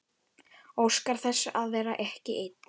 Óskar þess að vera ekki ein.